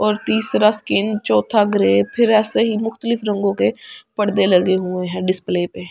और तीसरा स्किन चौथा ग्रे फिर ऐसे ही मुख्तलिफ रंगों के परदे लगे हुए हैं डिस्प्ले पे ।